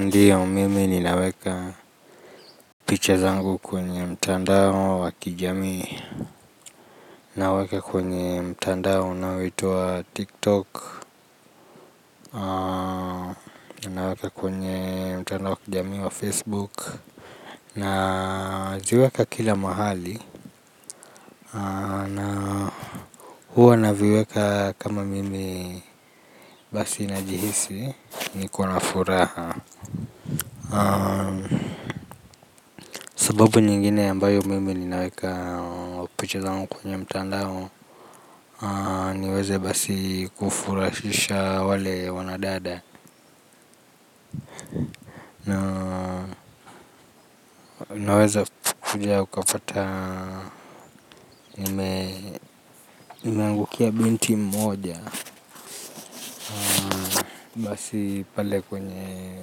Ndiyo mimi ninaweka picha zangu kwenye mtandao wa kijamii. Naweka kwenye mtandao unaoitwa tiktok. Naweka kwenye mtandao wa kijamii wa Facebook naziweka kila mahali na huwa naviweka kama mimi basi najihisi ni kona furaha. Sababu nyingine ambayo mimi ninaweka picha zangu kwenye mtandao niweze basi kufurahisha wale wanadada. Naweze kuja ukapata nimeangukia binti mmoja. Basi pale kwenye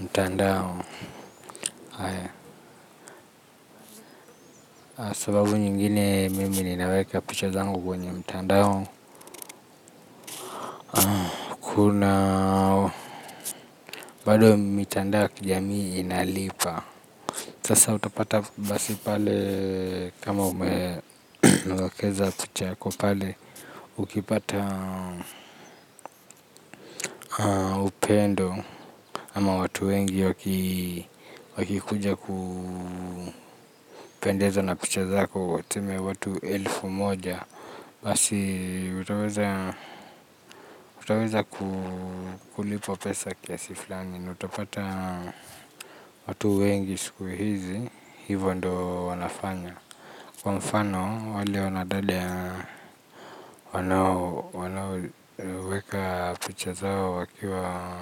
mtandao sababu nyingine mimi ninaweka picha zangu kwenye mtandao. Kuna bado mitandao ya kijamii inalipa sasa utapata basi pale kama umewekeza picha yako pale. Ukipata upendo ama watu wengi wakikuja kupendezwa na picha zako wa tuseme watu elfu moja basi utaweza kulipwa pesa kiasi fulani nautapata watu wengi siku hizi hivyo ndo wanafanya. Kwa mfano, wale wanadada ya wanaoweka picha zao wakiwa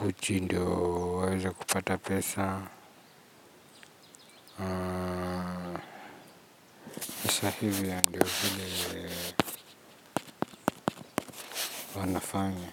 huchi ndio waweze kupata pesa, sahivi na ndio hile wanafanya.